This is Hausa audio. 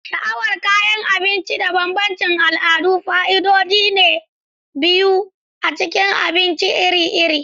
Sha'awar kayan abinci da bambancin al'adu fa'idodi biyu ne na cin abinci iri-iri.